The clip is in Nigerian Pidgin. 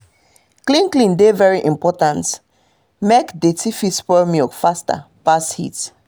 clean clean dey very important make dirty fit spoil milk faster pass heat